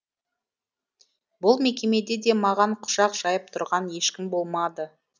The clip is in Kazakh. бұл мекемеде де маған құшақ жайып тұрған ешкім болмады